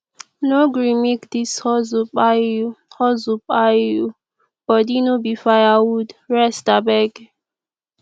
no gree make dis hustle kpai you hustle kpai you o body no be firewood rest abeg